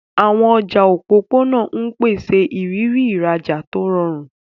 Àwọn ọjà òpópónà ń pèsè ìrírí ìrajà tó rọrùn.